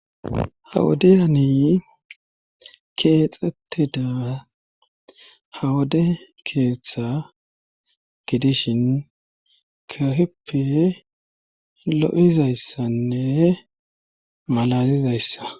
Ha wodeyani keexxettida ha wode keeththa gidishin kahippe lo7izayssanne malalizayssa